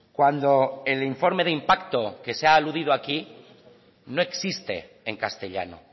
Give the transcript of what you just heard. cuando el informe de impacto que se ha aludido aquí no existe en castellano